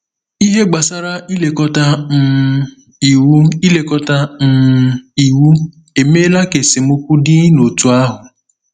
Ihe gbasara ilekọta um Iwu ilekọta um Iwu emeela ka esemokwu dị n’òtù ahụ.